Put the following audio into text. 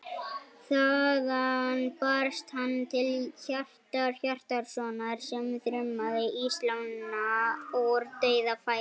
Þaðan barst hann til Hjartar Hjartarsonar sem þrumaði í slána úr dauðafæri.